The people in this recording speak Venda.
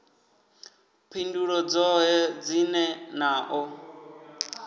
phindulo dzoṱhe dzine na ḓo